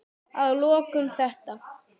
Að lokum þetta.